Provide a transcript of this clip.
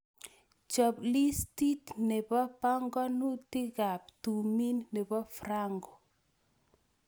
Chop liistiit ne po pongonutikap tumin ne po Franco